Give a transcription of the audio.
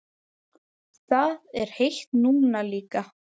Það er heitt núna líka.